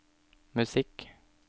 musikk